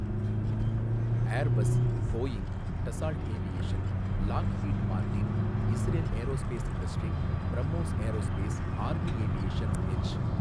Airbus, Boeing, Dassault Aviation, Lockheed Martin, Israel Aerospace Industry, BrahMos Aerospace, Army Aviation, H.